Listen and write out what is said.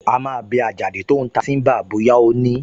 A máa bi Àjàdí tó ń ta tíḿbà bóyá ó ní